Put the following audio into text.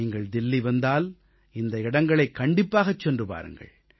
நீங்கள் தில்லி வந்தால் இந்த இடங்களைக் கண்டிப்பாகச் சென்று பாருங்கள்